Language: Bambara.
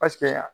Paseke